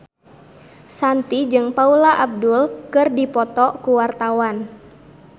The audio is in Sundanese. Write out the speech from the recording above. Shanti jeung Paula Abdul keur dipoto ku wartawan